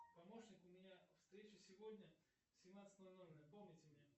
помощник у меня встреча сегодня в семнадцать ноль ноль напомните мне